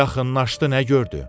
Yaxınlaşdı nə gördü?